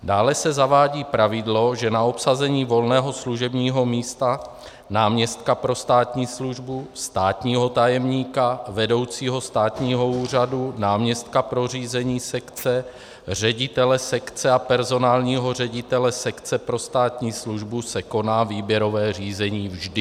Dále se zavádí pravidlo, že na obsazení volného služebního místa náměstka pro státní službu, státního tajemníka, vedoucího státního úřadu, náměstka pro řízení sekce, ředitele sekce a personálního ředitele sekce pro státní službu se koná výběrové řízení vždy.